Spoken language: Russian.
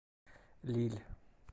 лилль